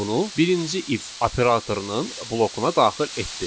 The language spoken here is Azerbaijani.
bunu birinci if operatorunun blokuna daxil etdi.